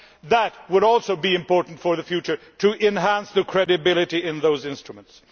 That would also be important for the future to enhance credibility in those instruments.